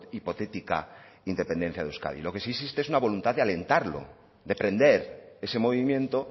hipotética independencia de euskadi lo que sí existe es una voluntad de alentarlo de prender ese movimiento